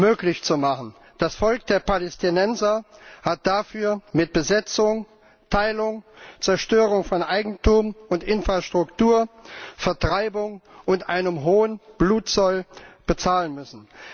möglich zu machen. Das Volk der Palästinenser hat dafür mit Besetzung, Teilung, Zerstörung von Eigentum und Infrastruktur, Vertreibung und einem hohen Blutzoll bezahlen müssen.